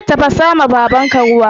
Tafasawa babanka ruwa